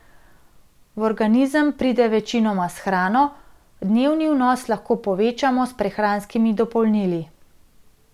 V organizem pride večinoma s hrano, dnevni vnos lahko povečamo s prehranskimi dopolnili.